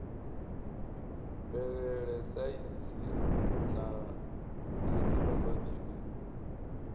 mvelele saintsi na thekhinoḽodzhi u